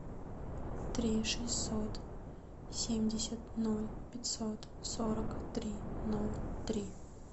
три шестьсот семьдесят ноль пятьсот сорок три ноль три